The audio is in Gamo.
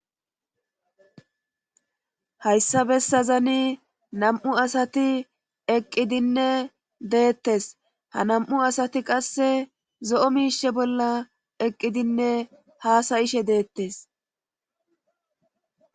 Hayssabessazani nam7u asati eqqidinne deettes ha nam7u asati qasse zo7o miishe bolla eqqidinne haasayishe deettes